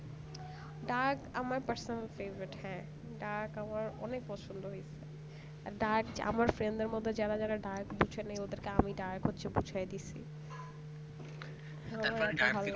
dark আমার personal favorite হ্যাঁ dark আমার অনেক পছন্দ হৈছে আর dark আমার friend দের মধ্যে যারা যারা dark বুঝেনাই ওদেরকে হচ্ছে আমি dark বুঝাই দিচ্ছি